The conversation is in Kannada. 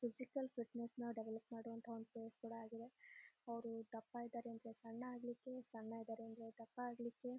ಫಿಸಿಕಲ್ ಫಿಟ್ನೆಸ್ ನಾ ಡೆವೆಲೊಪ್ ಮಾಡುವಂತಹ ಒಂದು ಫೆಸ್ ಕೂಡ ಆಗಿದೆ. ಅವ್ರು ದಪ್ಪ ಇದಾರೆ ಅಂದ್ರೆ ಸಣ್ಣ ಆಗಲಿಕ್ಕೆ ಸಣ್ಣ ಇದಾರೆ ಅಂದ್ರೆ ದಪ್ಪ ಆಗಲಿಕ್ಕೆ--